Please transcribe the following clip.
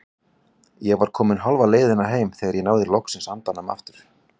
Ég var komin hálfa leiðina heim þegar ég náði loks andanum aftur.